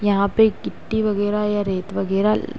यहाँ पे गिट्टी वगैरा या रेत वगैरा ल --